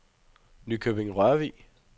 Nykøbing-Rørvig